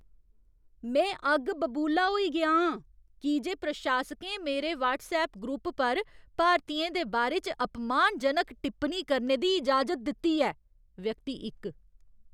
में अग्ग बबूला होई गेआ आं की जे प्रशासकें मेरे व्हट्सऐप ग्रुप पर भारतियें दे बारे च अपमानजनक टिप्पनी करने दी इजाजत दित्ती ऐ। व्यक्ति इक